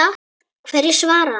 Hverju svaraði hann?